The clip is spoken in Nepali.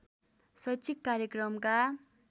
शैक्षिक कार्यक्रमका